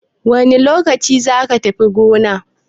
Wane lokaci zaka tafi goma?